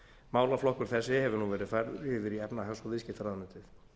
málaflokkur þessi hefur nú verið færður yfir í efnahags og viðskiptaráðuneytið